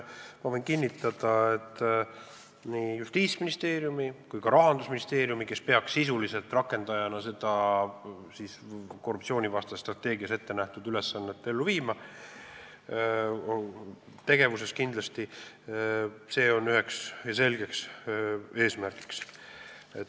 Ma võin kinnitada, et nii Justiitsministeeriumile kui ka Rahandusministeeriumile, kes peaks rakendajatena seda korruptsioonivastases strateegias ette nähtud ülesannet ellu viima, on see üks selge tegevuseesmärk.